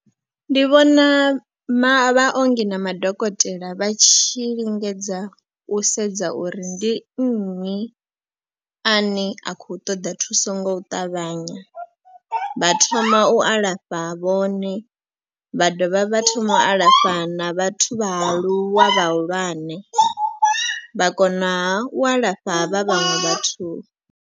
Ndi vhona maongi na madokotela vha tshi lingedza u sedza uri ndi nnyi a ne a khou ṱoḓa thuso ngo ṱavhanya. Vha thoma u alafha vhone vha dovha vha thoma u alafha na vhathu vhaaluwa vhahulwane vha konaha u alafha havha vhaṅwe vhathu.